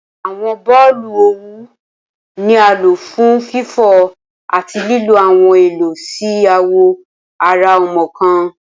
Awọn boolu owu ni a lo fun fifọ ati lilo awọn Elo si awọ ara ọmọ kan